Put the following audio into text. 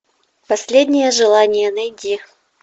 последнее желание найди